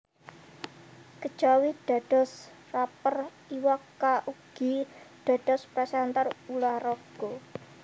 Kejawi dados rapper Iwa K ugi dados presenter ulah raga